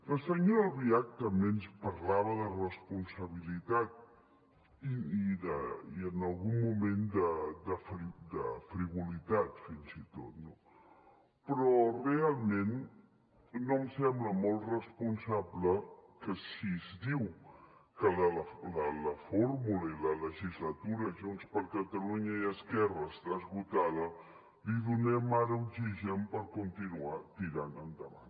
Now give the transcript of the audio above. la senyora albiach també ens parlava de responsabilitat i en algun moment de frivolitat fins i tot no però realment no em sembla molt responsable que si es diu que la fórmula i la legislatura junts per catalunya i esquerra està esgotada li donem ara oxigen per continuar tirant endavant